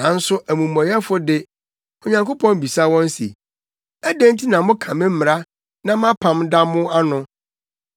Nanso amumɔyɛfo de, Onyankopɔn bisa wɔn se, “Adɛn nti na moka me mmara na mʼapam da mo ano?